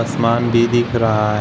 असमान भी दिख रहा है।